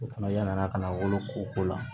O fana yanni a ka na wolo ko la